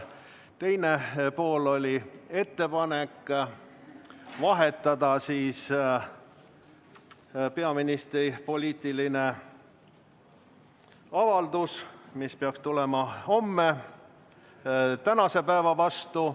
Teine pool oli ettepanek muuta peaministri poliitilise avalduse toimumise aega, see peaks tulema homme, aga sooviti vahetada see tänase päeva vastu.